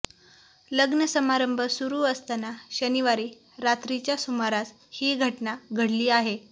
लग्नसमारंभ सुरु असताना शनिवारी रात्रीच्या सुमारास ही घटना घडली आहे